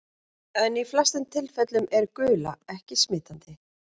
En í flestum tilfellum er gula ekki smitandi.